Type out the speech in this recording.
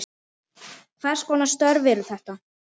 Hvers konar störf eru þetta?